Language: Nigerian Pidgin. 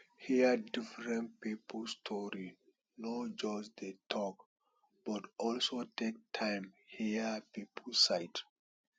hear different pipo story no just dey talk but also take time hear pipo side